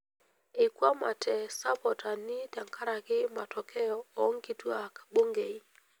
Eikwamate sapotani tenkaraki matokeo oonkituak bungei.